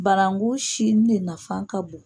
Barangu sini ne nafan ka bon.